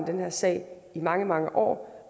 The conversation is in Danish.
den her sag i mange mange år